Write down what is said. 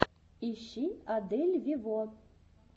ищи адель вево